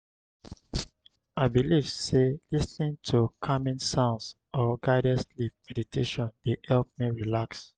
i dey believe say lis ten ing to calming sounds or guided sleep meditation dey help me relax.